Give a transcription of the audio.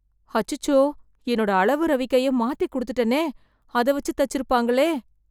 அச்சச்சோ என்னோட அளவு ரவிக்கைய மாத்தி குடுத்துட்டனே, அத வைச்சு தச்சிருப்பாங்களே